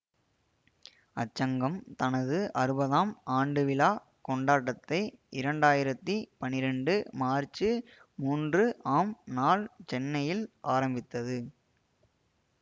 அச்சங்கம் தனது அறுபதாம் ஆண்டுவிழாக் கொண்டாட்டத்தை இரண்டாயிரத்தி பன்னிரண்டு மார்ச்சு மூன்று ஆம் நாள் சென்னையில் ஆரம்பித்தது